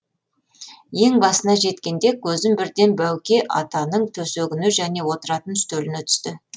ең басына жеткенде көзім бірден бәуке атаның төсегіне және отыратын үстеліне түсті